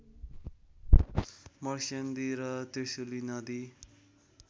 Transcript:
मर्स्याङ्गदी र त्रिशुली नदी